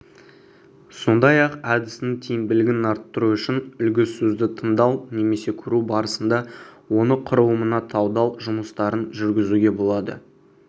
сондай-ақ әдістің тиімділігін арттыру үшін үлгісөзді тыңдау немесе көру барысында оны құрылымына талдау жұмыстарын жүргізуге болады